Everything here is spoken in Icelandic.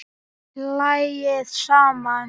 Hlæið saman